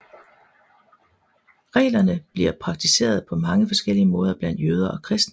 Reglerne bliver praktiseret på mange forskellige måder blandt jøder og kristne